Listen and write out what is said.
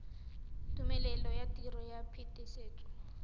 tumelelo ya tiro ya phetisetso